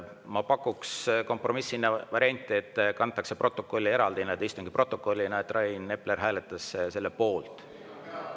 Ma pakuks kompromissina varianti, et protokolli kantakse eraldi, istungi protokolli, et Rain Epler hääletas selle poolt.